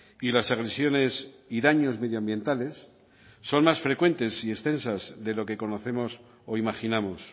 y las agresiones y daños medioambientales son más frecuentes y extensas de lo que conocemos o imaginamos